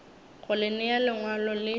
go le nea lengwalo le